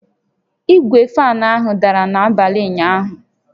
Igwe fan ahụ dara n'abalị ụnyaahụ